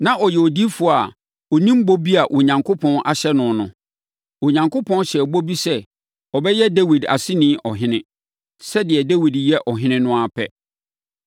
Na ɔyɛ odiyifoɔ a ɔnim bɔ bi a Onyankopɔn ahyɛ no no. Onyankopɔn hyɛɛ bɔ bi sɛ ɔbɛyɛ Dawid aseni ɔhene, sɛdeɛ Dawid yɛ ɔhene no ara pɛ.